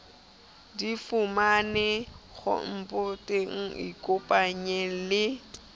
di fumanehe khomputeng ikopanye le